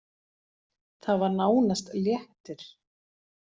Það var nánast léttir.